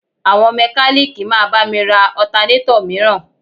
Àwọn mẹ́kalíìkì máa bá mi ra Ọtanétọ̀ mìíràn